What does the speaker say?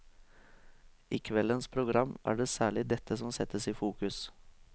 I kveldens program er det særlig dette som settes i fokus.